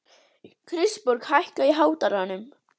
Kristborg, hækkaðu í hátalaranum.